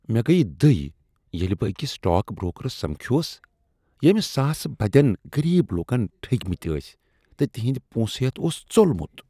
مےٚ گٔیہ دٕے ییٚلہ بہٕ أکس سٹاک برٛوکرس سمکھیوس ییٚمۍ ساسہٕ بدین غریب لوکن ٹھگۍمتۍٲسۍتہٕ تہنٛدۍ پونسہٕ ہیتھ اوس ژوٚلمت۔